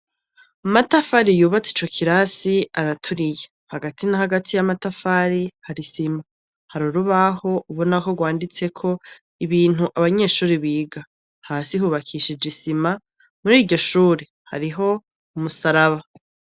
Amatafari yubatse ico kirasi araturiye hagati na hagati y' amatafari hari isima hari urubaho ubona ko gwanditseko ibintu abanyeshure biga hasi hubakishije isima muri iryo shure hariho umusaraba.